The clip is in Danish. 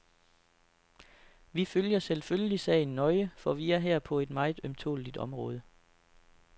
Vi følger selvfølgelig sagen nøje, for vi er her på et meget ømtåleligt område.